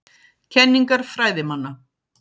Kenningar fræðimanna.